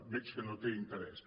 veig que no té interès